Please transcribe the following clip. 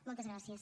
moltes gràcies